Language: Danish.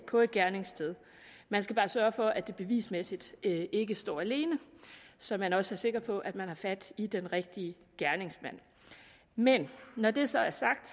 på et gerningssted man skal bare sørge for at det bevismæssigt ikke står alene så man også er sikker på at man har fat i den rigtige gerningsmand men når det så er sagt